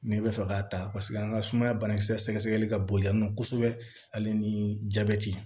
Ne bɛ fɛ k'a ta paseke an ka sumaya banakisɛ ka bon yan nɔ kosɛbɛ ale ni jabɛti